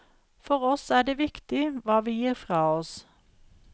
For oss er det viktig hva vi gir fra oss.